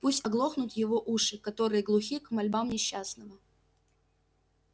пусть оглохнут его уши которые глухи к мольбам несчастного